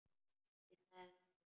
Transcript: Ég sagði það líka.